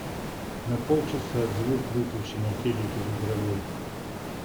на полчаса звук выключи на телике в игровой